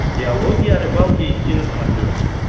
диалоги о рыбалке эйч ди на смотрешке